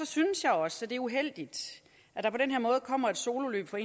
synes jeg også det er uheldigt at der på den her måde kommer et sololøb fra